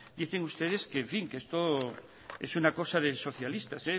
dicen ustedes que en fin esto es una cosa de socialistas